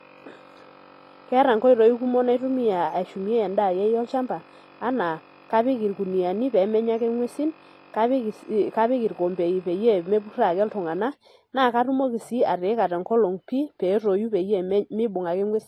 Keeta nkoitoi kumok naitumia ashumie endaa akeyie olchamba anaa kapik irkuniani pemenya ake ngwesin kapik irombei pemepuroo ake ltunganak nakatumoki si atuuni tenkolong pii petoi pemeibung ake ngwesi.